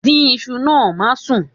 Dín iṣu náà, má sún.